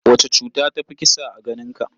Wace cuta ta fi kisa a ganinka?